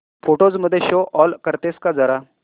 photos मध्ये show all करतेस का जरा